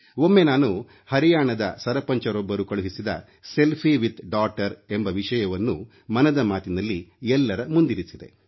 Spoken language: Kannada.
ಒಮ್ಮೆ ನಾನು ಹರಿಯಾಣದ ಸರಪಂಚರೊಬ್ಬರು ಕಳುಹಿಸಿದ ಸೆಲ್ಫಿ ವಿದ್ ಡಾಟರ್ ಮಗಳೊಂದಿಗೆ ಸೆಲ್ಫಿ ವಿಷಯವನ್ನು ಮನದ ಮಾತಿನಲ್ಲಿ ಎಲ್ಲರ ಮುಂದಿರಿಸಿದೆ